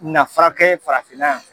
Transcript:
na farakɛ farafinna yan.